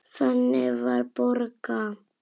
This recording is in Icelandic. Þannig var Borga.